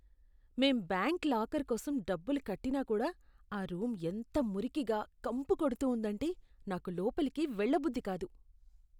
మేం bank locker కోసం డబ్బులు కట్టినా కూడా, ఆ రూమ్ ఎంత మురికిగా, కంపు కొడుతూ ఉందంటే నాకు లోపలికి వెళ్లబుద్ధి కాదు.